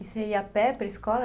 E você ia a pé para a escola?